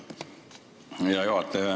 Aitäh, hea juhataja!